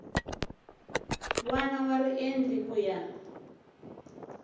wana wa riendli ku ya